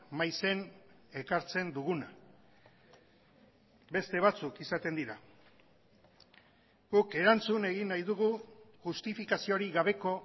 maizen ekartzen duguna beste batzuk izaten dira guk erantzun egin nahi dugu justifikaziorik gabeko